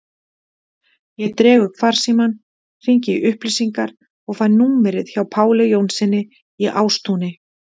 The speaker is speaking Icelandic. Ég dreg upp farsímann, hringi í upplýsingar og fæ númerið hjá Páli Jónssyni í Ástúni.